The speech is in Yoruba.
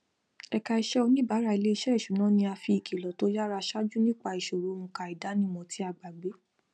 ẹka iṣẹ oníbàárà iléiṣẹ ìṣúná ni a fi ìkìlọ tó yara ṣáájú nípa ìṣòro onka idanimọ tí a gbàgbé